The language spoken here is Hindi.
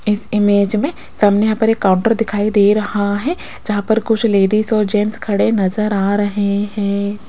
इस इमेज में सामने यहां पर एक काउंटर दिखाई दे रहा है जहां पर कुछ लेडिस और जेंट्स खडे नजर आ रहे हैं।